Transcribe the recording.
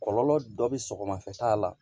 Kɔlɔlɔ dɔ bɛ sɔgɔmafɛta la